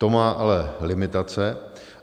To má ale limitace.